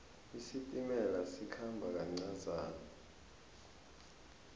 isitimela sikhamba kancazana